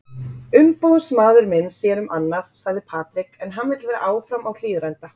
Umboðsmaður minn sér um annað, sagði Patrick en vill hann vera áfram á Hlíðarenda?